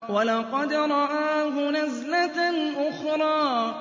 وَلَقَدْ رَآهُ نَزْلَةً أُخْرَىٰ